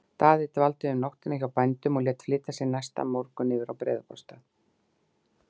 Daði dvaldi um nóttina hjá bændum og lét flytja sig næsta morgun yfir að Breiðabólsstað.